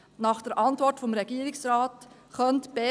Nach der Antwort des Regierungsrates könnte die BE!